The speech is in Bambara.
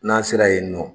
N'an sera yen nɔ